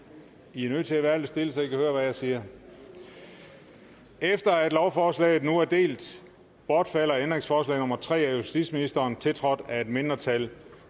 i er nødt til at være lidt stille så i kan høre hvad jeg siger efter at lovforslaget nu er delt bortfalder ændringsforslag nummer tre af justitsministeren tiltrådt af et mindretal